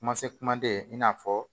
Kuma se kumaden i n'a fɔ